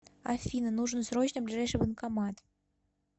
афина нужен срочно ближайший банкомат